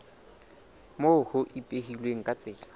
moo ho ipehilweng ka tsela